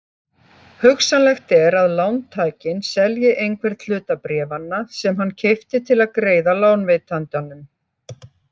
Hugsanlegt er að lántakinn selji einhvern hluta bréfanna sem hann keypti til að greiða lánveitandanum.